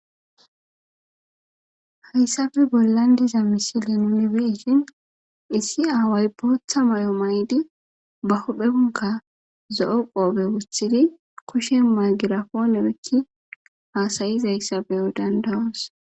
hayssabe bollandiza misilen mibeishin issi aaway bootha may7o maydi ba hodpheunka zo7o qoobe wusthidi koshen may girapoonebekki haasayizayssabeyo dandawos